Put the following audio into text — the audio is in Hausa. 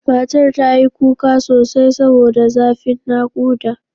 Matar ta yi kuka sosai saboda zafin naƙuda.